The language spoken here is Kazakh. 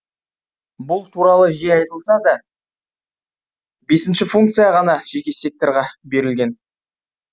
бұл туралы жиі айтылса да бесінші функция ғана жеке секторға берілген